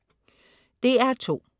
DR2: